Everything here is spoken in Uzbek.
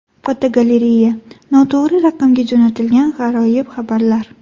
Fotogalereya: Noto‘g‘ri raqamga jo‘natilgan g‘aroyib xabarlar.